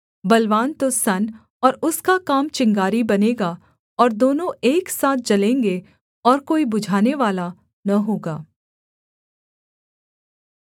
बलवान तो सन और उसका काम चिंगारी बनेगा और दोनों एक साथ जलेंगे और कोई बुझानेवाला न होगा